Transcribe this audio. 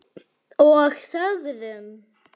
Og þögðum.